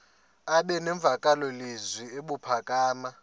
aba nemvakalozwi ebuphakama